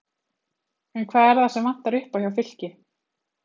En hvað er það sem vantar upp á hjá Fylki?